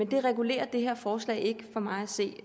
det regulerer det her forslag ikke for mig at se